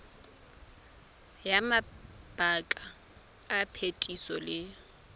ya mabaka a phetiso le